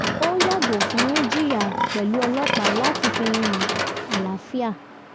ó yàgò fún jiyàn pẹ̀lú ọlọ́pàá láti fi hàn àlàáfíà